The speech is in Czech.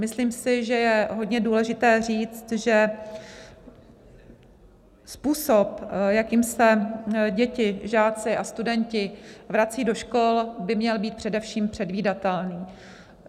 Myslím si, že je hodně důležité říct, že způsob, jakým se děti, žáci a studenti vrací do škol, by měl být především předvídatelný.